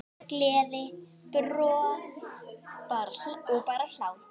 Gleði, bros og bara hlátur.